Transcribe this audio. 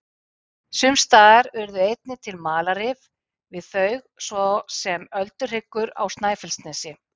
Sums staðar urðu einnig til malarrif við þau, svo sem Ölduhryggur á Snæfellsnesi.